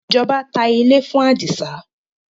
ìjọba tá ilé fún adisa